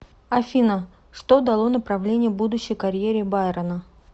афина что дало направление будущей карьере байрона